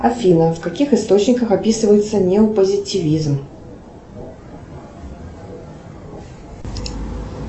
афина в каких источниках описывается неопозитивизм